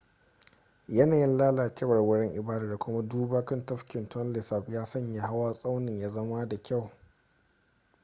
yanayin lalacewar wurin ibadar da kuma duba kan tafkin tonle sap ya sanya hawa tsaunin ya zama da kyau